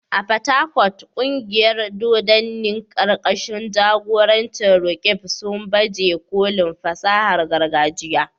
A Port Harcourt, kungiyar dodanni karkashin jagorancin Roqeeb, sun baje kolin fasahar gargajiya.